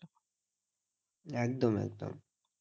একদম একদম